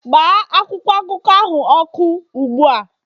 gbaa akwụkwọ akụkọ ahụ ọkụ ugbu a